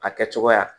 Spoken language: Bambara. A kɛcogoya